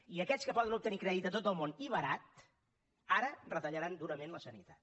i aquests que poden obtenir crèdit a tot el món i barat ara retallaran durament la sanitat